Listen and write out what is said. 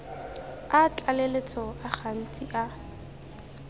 a tlaleletso a gantsi a